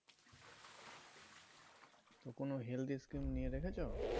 কোন healthy scheme নিয়ে রেখেছো